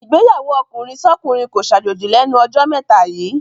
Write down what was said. Ìgbéyàwó ọkùnrinsọ́kùnrin kó ṣàjòjì lẹ́nu jọ́ mẹ́ta yíì.